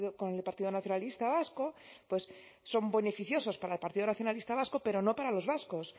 con el partido nacionalista vasco pues son beneficiosos para el partido nacionalista vasco pero no para los vascos